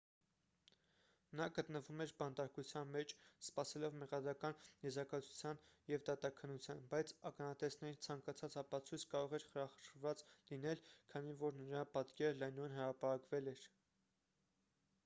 նա գտնվում էր բանտարկության մեջ սպասելով մեղադրական եզրակացության և դատաքննության բայց ականատեսների ցանկացած ապացույց կարող էր խարխրված լինել քանի որ նրա պատկերը լայնորեն հրապարակվել էր